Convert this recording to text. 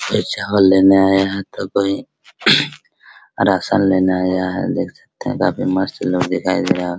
ये चावल लेने आया है तो कोई रासन लेने आया है देख सकते है काफी मस्त लोग दिखाई दे रहे है।